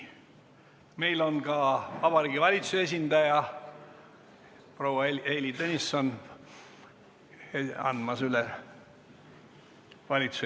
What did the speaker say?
Meil on ka Vabariigi Valitsuse esindaja proua Heili Tõnisson valitsuse eelnõu üle andmas.